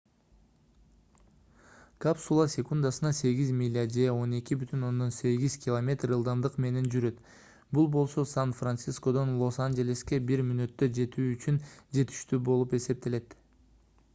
капсула секундасына 8 миля же 12,8 км ылдамдык менен жүрөт бул болсо сан-францискодон лос-анжелеске бир мүнөттө жетүү үчүн жетиштүү болуп эсептелет